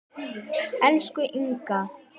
Elsku Inga.